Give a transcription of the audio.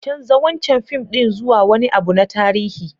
Canza wancan fim ɗin zuwa wani abu na tarihi.